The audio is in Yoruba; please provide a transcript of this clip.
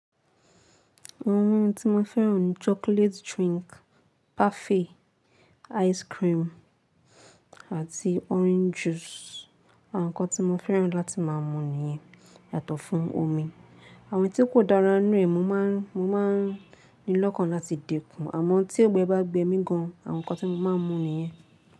Àwọn oúnjẹ tí mo fẹ́ràn ni chocolate drink, parfait, ice cream àti orange juice. Àwọn nǹkan tí mo fẹ́ràn láti má a mú ni iyẹn yàtọ̀ fún omi. Àwọn tí kò dára ní ìrẹ̀ mo má n ní lọ́kàn láti dè kún. Àmọ́ tí ọgbẹ bá gbe mí gan, àwọn nǹkan tí mo má a mú ni iyẹn.